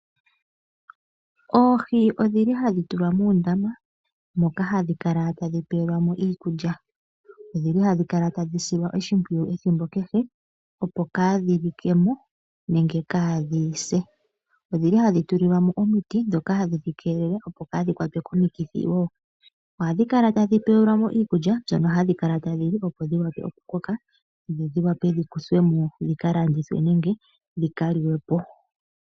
Oohi odhili hadhi tulwa muundama moka hadhi kala tadhi pewelwamo iikulya. Odhina okukala hadhi silwa oshimpwuyu ethimbo kehe opo kadhi likemo nenge kadhi se. Odhili hadhi tulilwamo omiti dhoka hadhi dhikelele opo kadhi kwatwe komikithi wo. Ohadhi kala tadhi pewelwamo iikulya mbyono hadhi kala tadhi li opo dhi shuwe okukoka dhiwape dhikuthwemo dhika landithwe nenge dhika liwepo.